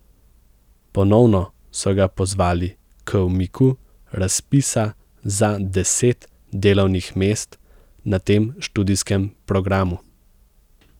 Ponovno so ga pozvali k umiku razpisa za deset delovnih mest na tem študijskem programu.